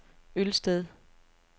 Ølsted